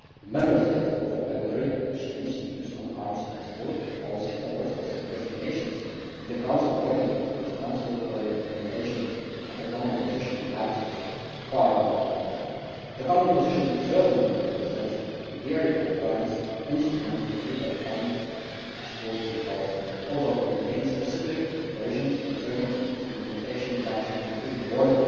Member States also regularly exchange views on arms export policies towards specific destinations in the Council working party responsible for the implementation of the common position, that is to say, the COARM working party. The common position certainly represents a very advanced instrument in the field of arms export control. It also contains specific provisions concerning its implementation that should be fully borne